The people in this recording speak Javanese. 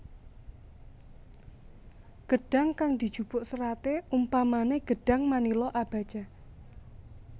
Gedhang kang dijupuk seraté umpamané gedhang manila abaca